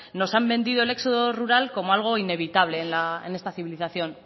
nos han vendido el éxodo rural como algo inevitable en esta civilización